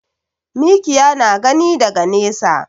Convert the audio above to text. Mikiya na gani daga nesa.